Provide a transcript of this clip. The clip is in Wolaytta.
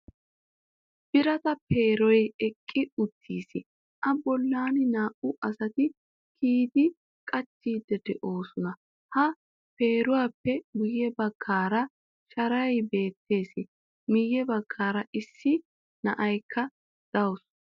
Birata peeroy eqqi uttiis, a bollan naa"u asati kiyidi qachchidi de'oosona. Ha peeruwappe guye baggaara shaaray beettees. Miye baggaara issi na'iyakka dawusu.